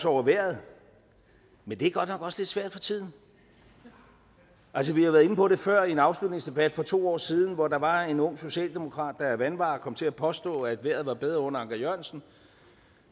over vejret men det er godt nok også lidt svært for tiden altså vi har været inde på det før i en afslutningsdebat for to år siden hvor der var en ung socialdemokrat der af vanvare kom til at påstå at vejret var bedre under anker jørgensen